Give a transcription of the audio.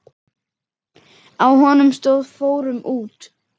Á honum stóð: Fórum út!